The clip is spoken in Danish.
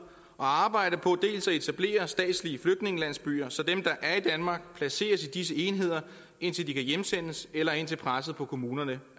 og arbejde på dels at etablere statslige flygtningelandsbyer så dem der er i danmark placeres i disse enheder indtil de kan hjemsendes eller indtil presset på kommunerne